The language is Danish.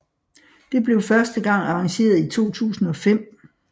Det blev første gang arrangeret i 2005